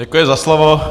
Děkuji za slovo.